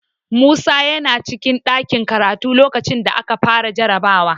Musa yana cikin ɗakin karatu lokacin da aka fara jarabawar.